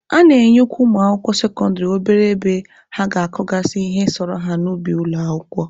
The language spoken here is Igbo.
A na-enyekwa ụmụ akwụkwọ sekọndịrị obere ebe ha ga-akọgasị ihe sọrọ ha n'ubi ụlọ akwụkwọ.